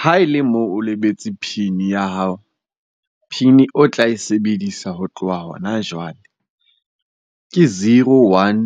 Ha e le moo o lebetse PIN ya hao. PIN o tla e sebedisa ho tloha hona jwale, ke zero one